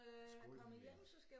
Skål min ven